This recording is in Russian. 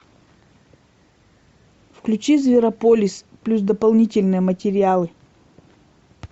включи зверополис плюс дополнительные материалы